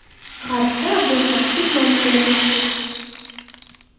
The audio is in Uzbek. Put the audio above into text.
G‘arbda Abulkassis nomi bilan mashhur.